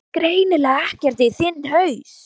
ÞÚ VEIST GREINILEGA EKKERT Í ÞINN HAUS!